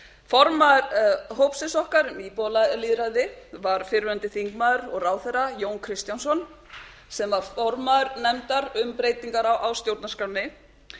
formaður hópsins okkar um íbúalýðræði var fyrrverandi þingmaður og ráðherra jón kristjánsson sem var formaður nefndar um breytingar á stjórnarskránni